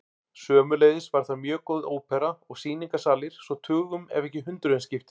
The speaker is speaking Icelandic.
Sömuleiðis var þar mjög góð ópera og sýningarsalir svo tugum ef ekki hundruðum skipti.